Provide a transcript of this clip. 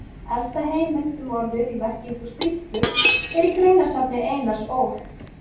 Elsta heimild um orðið í merkingu skrýtlu er í greinasafni Einars Ól.